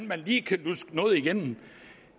man lige kan luske noget igennem